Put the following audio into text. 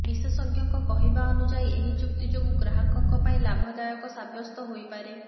ବିଶେଷଜ୍ଞଙ୍କ କହିବା ଅନୁଯାୟୀ ଏହି ଚୁକ୍ତି ଯୋଗୁଁ ଗ୍ରାହକଙ୍କ ପାଇଁ ଲାଭଦାୟକ ସାବ୍ୟସ୍ତ ହୋଇପାରେ